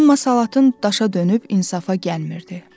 Amma salatın daşa dönüb insafa gəlmirdi.